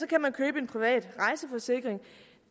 kan man købe en privat rejseforsikring